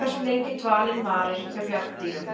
hversu lengi dvalinn varir hjá bjarndýrum.